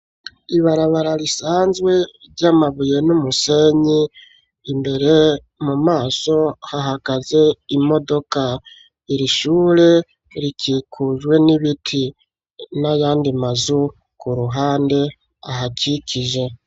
Ibarabara risanzwe ryamabuye n'umusenyi imbere mu maso hahagaze imodoka irishure rikikujwe n'ibiti n'ayandi mazu ku ruhande ahakikije.